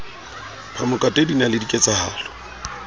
phamokate din a le ketsahalo